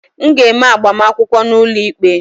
M ga-eme agbamakwụkwọ n'ụlọikpe